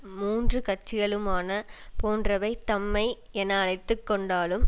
மூன்று கட்சிகளுமான போன்றவை தம்மை என அழைத்து கொண்டாலும்